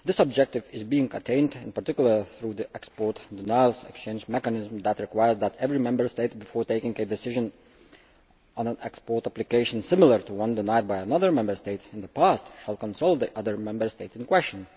This objective is being attained in particular through the export and denials exchange mechanism, which requires that every Member State, before taking a decision on an export application similar to one denied by another Member State in the past, shall consult the other Member State in question.